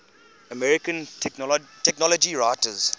american technology writers